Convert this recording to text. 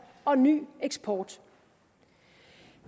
og ny eksport